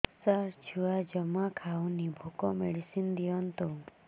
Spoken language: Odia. ସାର ଛୁଆ ଜମା ଖାଉନି ଭୋକ ମେଡିସିନ ଦିଅନ୍ତୁ